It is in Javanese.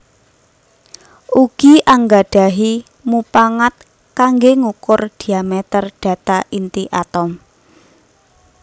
Ugi anggadahi mupangat kangge ngukur diameter data inti atom